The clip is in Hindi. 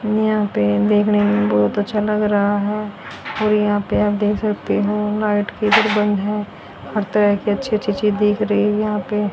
यहां पे देखने में बहुत-अच्छा लग रहा है और यहां पे आप देख सकते हो लाइट किधर बन्द है हर तरह की अच्छी-अच्छी चीज़ दिख रही यहां पे --